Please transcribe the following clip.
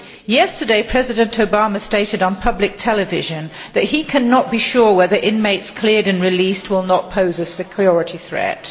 Yesterday, President Obama stated on public television that he cannot be sure whether inmates cleared and released will not pose a security threat.